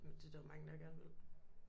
Men det er der jo mange der gerne vil